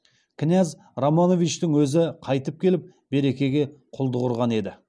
кінәз романовичтің өзі қайтып келіп беркеге құлдық ұрған еді